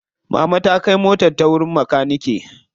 Mama ta kai motar ta wajen makanike.